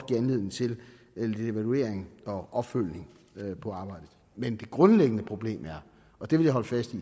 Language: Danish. give anledning til lidt evaluering og opfølgning på arbejdet men det grundlæggende problem er og det vil jeg holde fast